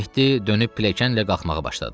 Mehdi dönüb pilləkənlə qalxmağa başladı.